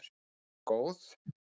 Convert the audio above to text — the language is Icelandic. Hún var góð.